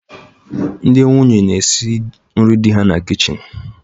Ndị nwunye na-esi nri di ha na kichin